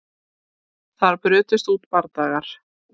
Þar brutust út bardagar